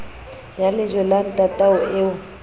ya lejwe la ntatao eo